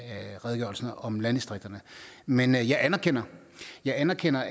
redegørelsen om landdistrikterne men jeg anerkender jeg anerkender